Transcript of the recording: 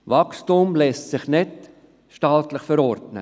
Wachstum lässt sich nicht staatlich verordnen.